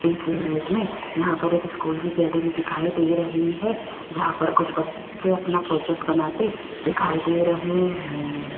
इस इमेज में यहां पर एक स्कूल की गैलरी दिखाई दे रही है जहां पर कुछ बच्चे अपना प्रोजेक्ट बनाते दिखाई दे रहे हैं।